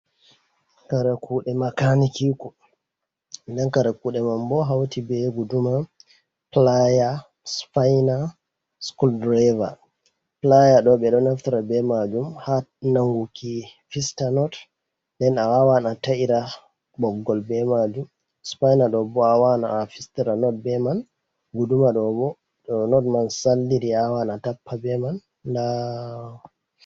Kare kuɗe makani ki ku nden kara kuɗe man bo hauti be guduma, playa, spaina, schol draver. Playa ɗo ɓe ɗo naftira be majum ha nanguki fista not nden a wawan a ta’ira ɓoggol be majum, spaina ɗo bo awawan a fistara not be man, guduma do bo to not man saldiri awawan tappa be man ndaa.